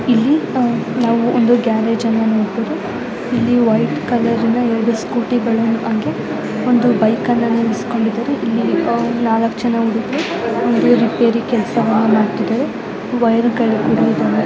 ಇಲ್ಲಿ ನಾವು ಒಂದು ಗ್ಯಾರೇಜ್ ಅನ್ನು ನೋಡಬಹುದು ಇಲ್ಲಿ ವೈಟ್ ಕಲರ್ ನ ಎರಡು ಸ್ಕೂಟಿ ಗಳು ಹಾಗೆ ಒಂದು ಬೈಕ್ ಅನ್ನು ನಿಲ್ಲಿಸಿಕೊಂಡಿದ್ದಾರೆ ಹಾಗೆ ಇಲ್ಲಿ ನಾಲ್ಕು ಜನ ಹುಡುಗರು ರಿಪೇರಿ ಕೆಲಸವನ್ನು ಮಾಡುತ್ತಿದ್ದಾರೆ ಹಾಗೆ ವೈರ್ ಗಳು ಕೂಡ ಇದಾವೆ.